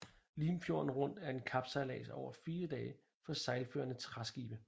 Limfjorden Rundt er en kapsejlads over fire dage for sejlførende træskibe